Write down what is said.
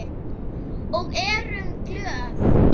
Og erum glöð.